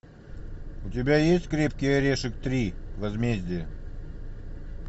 у тебя есть крепкий орешек три возмездие